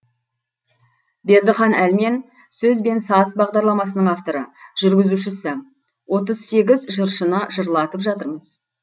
бердіхан әлмен сөз бен саз бағдарламасының авторы жүргізушісі отыз сегіз жыршыны жырлатып жатырмыз